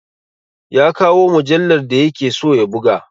Ya kawo mujallar da ya ke so ya buga!